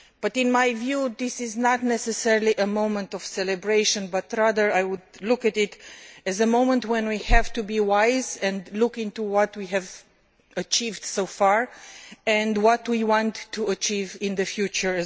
In my view, this is not necessarily a moment of celebration I prefer to see it as a moment when we have to be wise and to look at what we have achieved so far and what we want to achieve in the future.